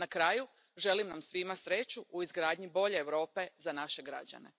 Na kraju, želim nam svima sreću u izgradnji bolje Europe za naše građane!